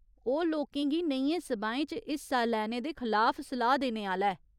ओह् लोकें गी नेहियें सभाएं च हिस्सा लैने दे खलाफ सलाह् देने आह्‌ला ऐ।